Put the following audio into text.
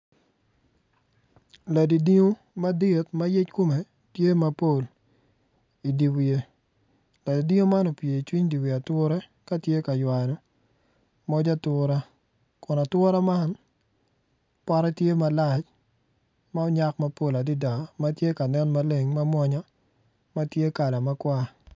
Ladidingo madit ma yec kome tye mapol idi wiye ladidingo man ocung icuny di wi atura ka tye ka ywano moc atura kun atura man pote tye malac ma onyak mapol adada ma tye ka nen maleng ma mwonya ma tye kala makwar.